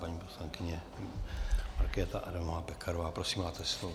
Paní poslankyně Markéta Adamová Pekarová, prosím, máte slovo.